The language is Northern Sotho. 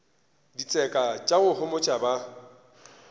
ditseka tša go homotša ba